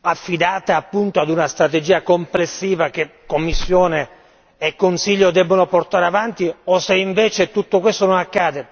affidato appunto ad una strategia complessiva che Commissione e Consiglio debbono portare avanti o se invece tutto questo non accade.